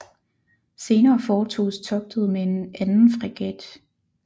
Senere foretoges togtet med en anden fregat